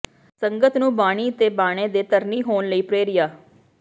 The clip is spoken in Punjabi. ਸੰਗਤ ਨੂੰ ਬਾਣੀ ਤੇ ਬਾਣੇ ਦੇ ਧਰਨੀ ਹੋਣ ਲਈ ਪ੍ਰਰੇਰਿਆ